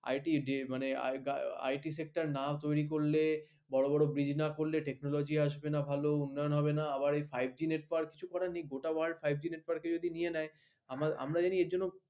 IT IT sector না তৈরি করলে বড় বড় bridge না করলে technology আসবে না উন্নয়ন হবে না আবার five g এরপর গোটা five g network এর জন্য নিয়ে নেয় আমি জানি এর জন্য